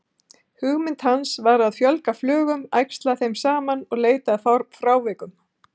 Hugmynd hans var að fjölga flugum, æxla þeim saman og leita að frávikum.